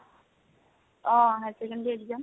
oh, higher secondary exam